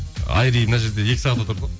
айри мына жерде екі сағат отырды ғой